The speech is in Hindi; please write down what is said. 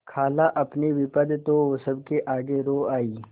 खालाअपनी विपद तो सबके आगे रो आयी